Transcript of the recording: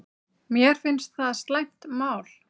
Mér finnst það slæmt mál